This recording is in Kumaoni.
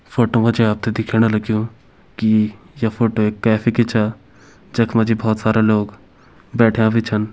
फोटो मजी आपते दिखेणा लग्यु की य फोटो एक कैफ़े की छ जख मजी बोहोत सारा लोग बैठ्यां भी छन।